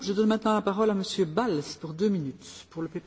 Frau Präsidentin, Herr Kommissar, verehrte Kollegen!